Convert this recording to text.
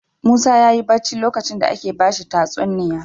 Musa yayi bacci lokacin da ake bashi tatsuniya